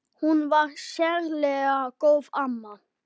Hún var sérlega góð amma.